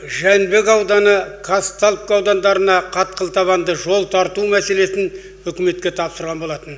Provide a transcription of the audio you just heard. жәнібек ауданы қазталовка аудандарына қатқыл табанды жол тарту мәселесін үкіметке тапсырған болатын